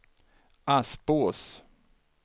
Aspås